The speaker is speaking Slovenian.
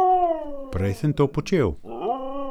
Prej sem to počel.